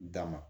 Dama